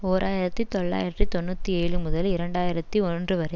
ஓர் ஆயிரத்தி தொள்ளாயிரத்து தொன்னூற்றி ஏழு முதல் இரண்டு ஆயிரத்தி ஒன்று வரை